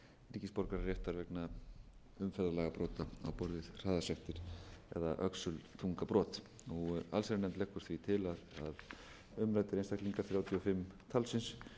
ríkisborgararéttar vegna umferðarlagabrota á borð við hraðasektir eða öxulþungabrot allsherjarnefnd leggur því til að umræddir einstaklingar þrjátíu og fimm talsins